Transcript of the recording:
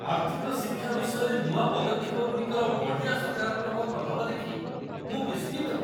ଆର୍ଥିକ ଶିକ୍ଷା ବିଷୟରେ ନୂଆ ପଦକ୍ଷେପଗୁଡ଼ିକର ବଢ଼ିଆ ସକାରାତ୍ମକ ପ୍ରଭାବ ଦେଖି ମୁଁ ବିସ୍ମିତ।